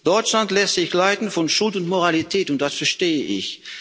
Deutschland lässt sich leiten von Schuld und Moralität, und das verstehe ich.